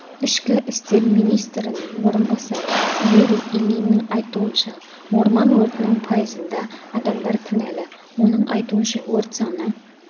ішкі істер министрінің орынбасары юрий ильиннің айтуынша орман өртінің пайызында адамдар кінәлі оның айтуынша өрт саны